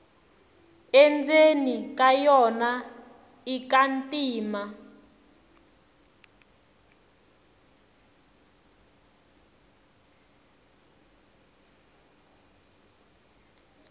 endzeni ka yona ika ntima